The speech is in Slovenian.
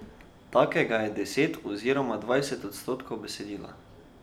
Takega je deset oziroma dvajset odstotkov besedila.